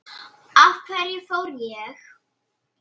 Af hverju fór ég?